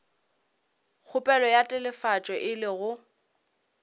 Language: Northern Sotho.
kgopelo ya telefatšo e lego